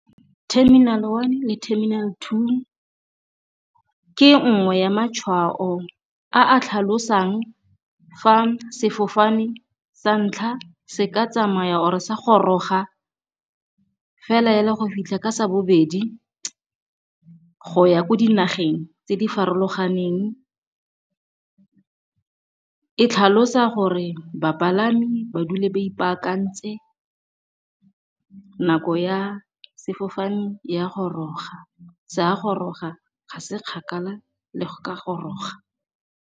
Terminal one le terminal two ke nngwe ya matshwao a a tlhalosang fa sefofane sa ntlha se ka tsamaya or-e sa goroga fela go fitlha ka sa bobedi go ya ko dinageng tse di farologaneng. E tlhalosa gore bapalami ba dule ba ipaakantse nako ya sefofane ya goroga, se a goroga, ga se kgakala le go ka goroga.